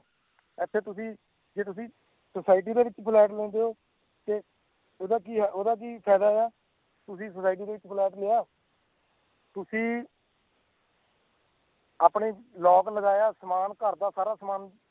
ਇੱਥੇ ਤੁਸੀਂ ਜੇ ਤੁਸੀਂ society ਦੇ ਵਿੱਚ ਫਲੈਟ ਲੈਂਦੇ ਹੋ ਤੇ ਉਹਦਾ ਕੀ ਆ ਉਹਦਾ ਕੀ ਫ਼ਾਇਦਾ ਆ, ਤੁਸੀਂ society ਦੇ ਵਿੱਚ ਫਲੈਟ ਲਿਆ ਤੁਸੀਂ ਆਪਣੇ lock ਲਗਾਇਆ, ਸਮਾਨ ਘਰਦਾ ਸਾਰਾ ਸਮਾਨ